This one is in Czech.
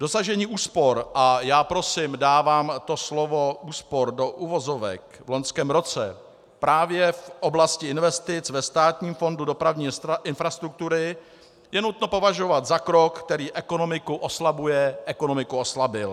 Dosažení úspor - a já prosím dávám to slovo úspor do uvozovek - v loňském roce právě v oblasti investic ve Státním fondu dopravní infrastruktury je nutno považovat za krok, který ekonomiku oslabuje, ekonomiku oslabil.